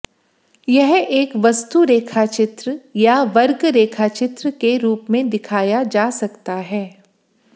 यह एक वस्तु रेखाचित्र या वर्ग रेखाचित्र के रूप में दिखाया जा सकता है